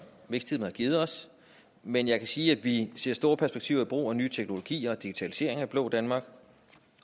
vækstteamet har givet os men jeg kan sige at vi ser store perspektiver i brug af nye teknologier og digitalisering af det blå danmark